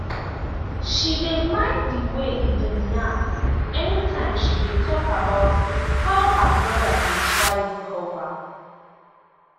she dey mind di way e dey yarn anytime she dey talk about how her brother dey try recover.